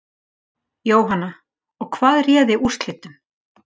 Jóhanna: Og hvað réði úrslitum?